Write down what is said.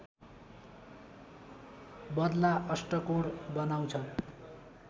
बद्ला अष्टकोण बनाउँछ